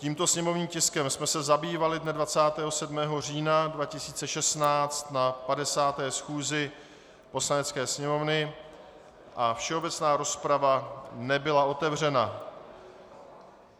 Tímto sněmovním tiskem jsme se zabývali dne 27. října 2016 na 50. schůzi Poslanecké sněmovny a všeobecná rozprava nebyla otevřena.